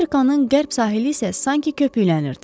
Afrikanın qərb sahili isə sanki köpüklənirdi.